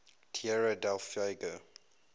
tierra del fuego